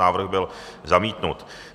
Návrh byl zamítnut.